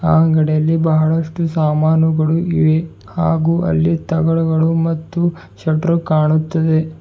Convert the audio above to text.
ಆ ಅಂಗಡಿಯಲ್ಲಿ ಬಹಳಷ್ಟು ಸಾಮಾನುಗಳು ಇವೆ ಹಾಗು ಅಲ್ಲಿ ತಗಡುಗಳು ಮತ್ತು ಶೆಟ್ರು ಕಾಣುತ್ತದೆ.